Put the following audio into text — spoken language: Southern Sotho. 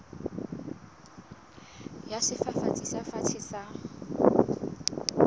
ya sefafatsi se fatshe sa